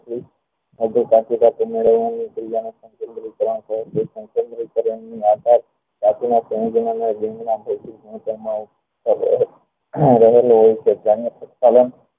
બધે સાચવી સકવી ન